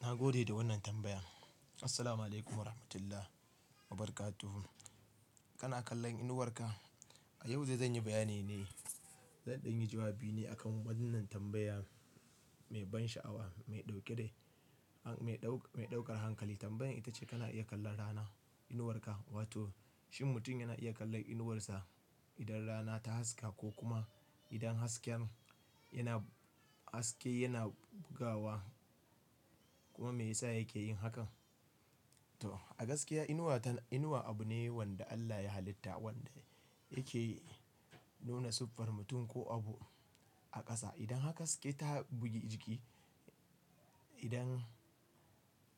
Na gode da wannan tambaya. Assalamualaikum Warahmatullahi Wabarakatuh. Kana kallon inuwar ka? A yau dai zan yi bayani ne, zan ɗan yi jawabi ne akan wannan tambaya mai ban sha'awa, mai ɗauke da, mai ɗaukar hankali. Tambayar ita ce kana iya kallon rana, inuwar ka? Wato shin mutum yana iya kallon inuwarsa idan rana ta haska ko kuma idan hasken yana, haske yana bugawa kuma me yasa yake yin hakan? To a gaskiya inuwa ta, inuwa abu ne wanda Allah ya hallita wanda yake nuna siffar mutum ko abu a ƙasa. Idan haka haske ta bugi jiki. Idan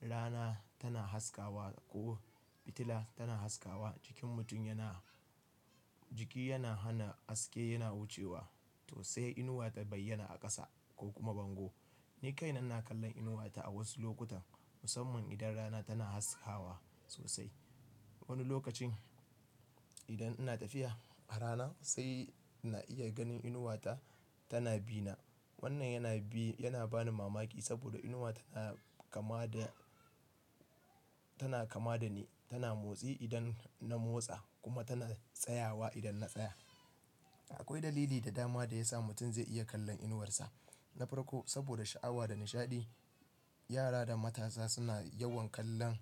rana tana haskawa ko fitila tana haskawa, jikin mutum yana, jiki yana hana haske yana wucewa to sai inuwa ta bayyana a ƙasa ko kuma bango. Ni kaina ina kallon inuwata a wasu lokutan musamman idan rana tana haskawa sosai. Wani lokacin idan ina tafiya a rana sai na iya ganin inuwata tana bina. Wannan yana bi, yana ba ni mamaki saboda inuwa tana kama da, tana kama da ni. Tana motsi idan na motsa kuma tana tsayawa idan na tsaya. Akwai dalili da dama da ya sa mutum zai iya kallon inuwarsa. Na farko saboda sha'awa da nishaɗi. Yara da matasa suna yawan kallon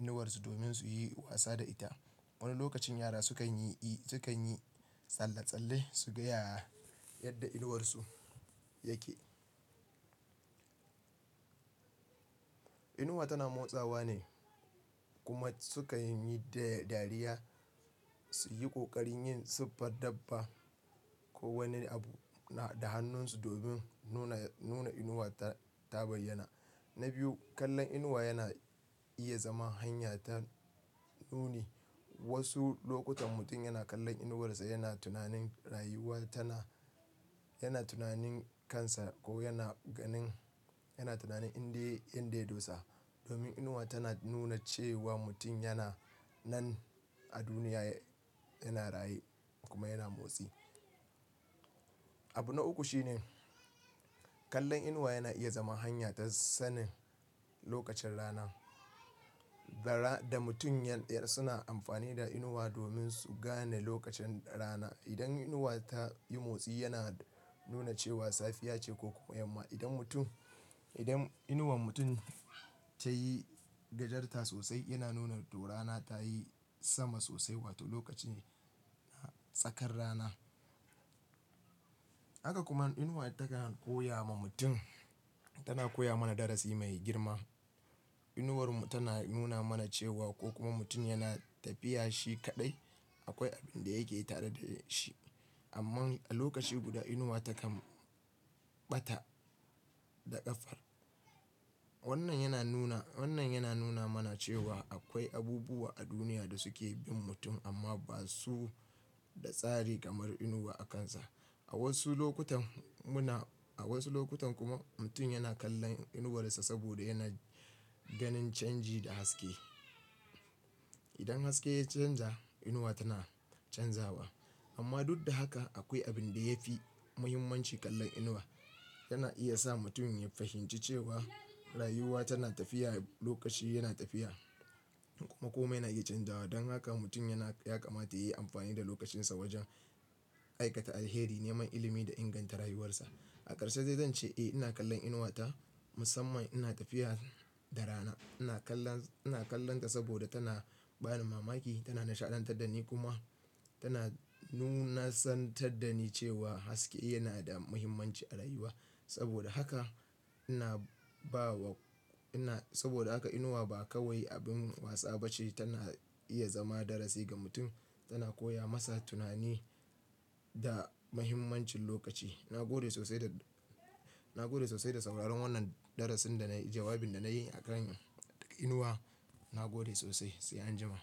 inuwarsu domin su yi wasa da ita. Wani lokacin yara sukan yi, sukan yi tsalle-tsalle su ga yadda inuwarsu yake. Inuwa tana motsawa ne kuma sukan yi da dariya, su yi ƙoƙarin yin siffar dabba ko wani abu da hannunsu domin nuna, nuna inuwa ta bayyana. Na biyu, kallon inuwa yana iya zama hanya ta nuni. Wasu lokutan mutum yana kallon inuwarsa yana tunanin rayuwa tana, yana tunanin kansa ko yana ganin, yana tunanin inda, inda ya dosa. Domin inuwa tana nuna cewa mutum yana nan a duniya, yana raye kuma yana motsi. Abu na uku shine kallon inuwa yana iya zama hanya ta sanin lokacin rana. Zara da mutum yan ɗaya suna amfani da inuwa domin su gane lokacin rana. Idan inuwa ta yi motsi yana nuna cewa safiya ce ko kuma yamma. Idan mutum, idan inuwar mutum ta yi gajarta sosai yana nuna to rana ta yi sama sosai wato lokaci tsakar rana. Haka kuma inuwa takan koya ma mutum, tana koya mana darasi mai girma. Inuwar mu tana nuna mana cewa ko kuma mutum yana tafiya shi kaɗai akwai abin da yake tare da shi. Amman a lokaci guda inuwa takan ɓatar da ƙafar. Wannan yana nuna, wannan yana nuna mana cewa akwai abubuwa a duniya da suke bin mutum amma ba su da tsari kamar inuwa akansa. A wasu lokutan muna, a wasu lokutan kuma mutum yana kallon inuwarsa saboda yana ganin canji da haske. Idan haske ya canja inuwa tana canzawa. Amma duk da haka akwai abin da yafi muhimmanci kallon inuwa. Yana iya sa mutum ya fahimci cewa rayuwa tana tafiya, lokaci yana tafiya kuma komai na iya canzawa. Don haka mutum yana, ya kamata yayi amfani da lokacinsa wajen aikata alheri, neman ilimi da inganta rayuwarsa. A ƙarshe dai zan ce eh ina kallon inuwata musamman ina tafiya da rana. Ina kallon, ina kallonta saboda tana ba ni mamaki, tana nishaɗantar da ni kuma tana nunasantar da ni cewa haske yana da muhimmanci a rayuwa. Saboda haka ina ba wa, ina, saboda haka inuwa ba kawai abin wasa bace. Tana iya zama darasi ga mutum, tana koya masa tunani da muhimmancin lokaci. Na gode sosai da, na gode sosai da sauraron wannan darasin da na yi, jawabin da na yi a kan inuwa. Na gode sosai sai anjima.